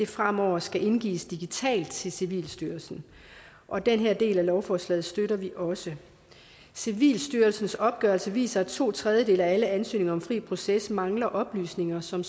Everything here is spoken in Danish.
fremover skal indgives digitalt til civilstyrelsen og den her del af lovforslaget støtter vi også civilstyrelsens opgørelse viser at to tredjedele af alle ansøgninger om fri proces mangler oplysninger som